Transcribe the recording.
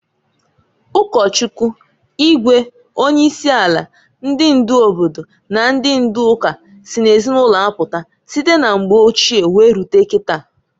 Ụkọchukwu, igwe, onye isi ala, ndị ndu obodo na ndị ndu ụka sị n'ezinụlọ apụta, site na mgbe ochie were rute kita.